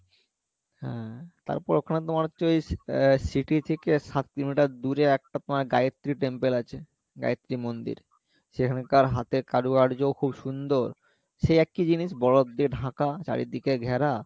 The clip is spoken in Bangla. হ্যাঁ তারপরে ওখানে তোমার হচ্ছে ওই আহ city থেকে সাত কিলোমিটার দূরে একটা তোমার গায়েত্রী temple আছে, গায়েত্রী মন্দির সেখানকার হাতে কারুকার্যও খুব সুন্দর সে একই জিনিস বরফ দিয়ে ঢাকা চারিদিকে ঘেরা